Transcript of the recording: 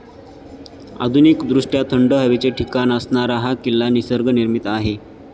आधुनिकदृष्ट्या थंड हवेचे ठिकाण असणारा हा किल्ला निसर्गनिर्मित आहे.